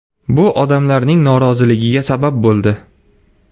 Bu odamlarning noroziligiga sabab bo‘ldi.